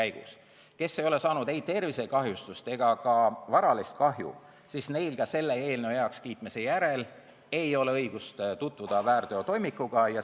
Neil, kes ei ole saanud ei tervisekahjustust ega varalist kahju, ei ole ka selle eelnõu heakskiitmise järel õigust väärteotoimikuga tutvuda.